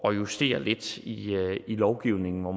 at justere lidt i lovgivningen og